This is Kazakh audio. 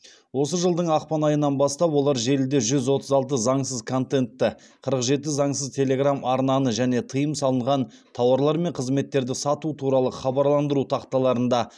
осы жылдың ақпан айынан бастап олар желіде жүз отыз алты заңсыз контентті қырық жеті заңсыз телеграм арнаны және тыйым салынған тауарлар мен қызметтерді сату туралы хабарландыру тақталарында